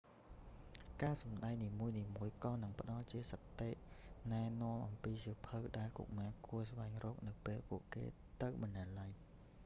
ការសម្តែងនីមួយៗក៏នឹងផ្តល់ជាមតិណែនាំអំពីសៀវភៅ ដែលកុមារគួរស្វែងរក នៅពេលពួកគេទៅបណ្ណាល័យ